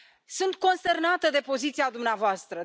Sunt consternată de poziția dumneavoastră.